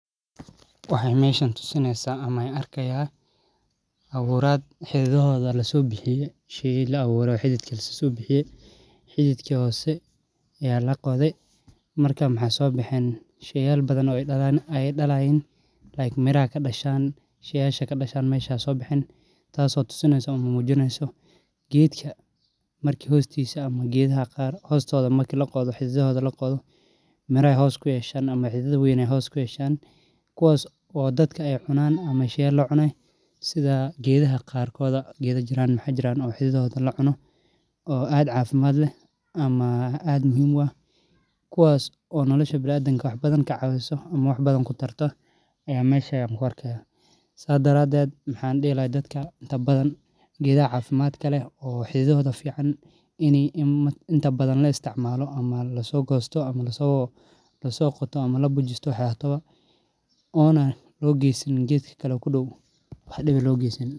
Waxaa meshan tusineysa ama an arki haya xididka laqodhwy sheyal aya sobaxan marki geedka qarkodha maxaa jira xididadhoda lacuno sas daraded maxan dihi laha geedaha mirahodha hala cuno sas ayan dadka ogu faideyni lahay.